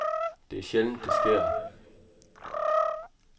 Det er sjældent, det sker.